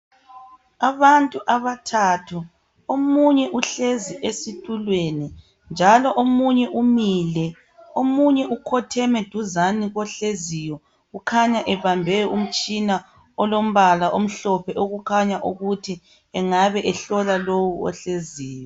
Abantu abathathu. Omunye uhlezi esitulweni njalo omunye umile, omunye ukhotheme duzane kohleziyo ukhanya ebambe umtshina olombala omhlophe okukhanya ukuthi engabe ehlola lowu ohleziyo.